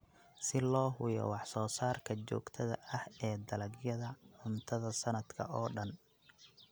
Si loo hubiyo wax soo saarka joogtada ah ee dalagyada cuntada sanadka oo dhan.